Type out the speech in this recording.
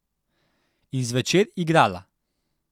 In zvečer igrala.